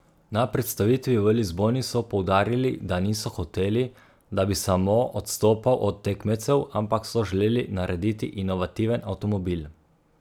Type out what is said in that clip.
Na predstavitvi v Lizboni so poudarili, da niso hoteli, da bi samo odstopal od tekmecev, ampak so želeli narediti inovativen avtomobil.